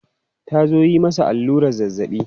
Ta zo yi masa allurar zazzabi.